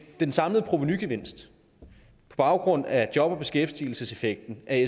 den samlede provenugevinst på baggrund af job og beskæftigelseseffekten af